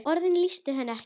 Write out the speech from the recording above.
Orðin lýstu henni ekki.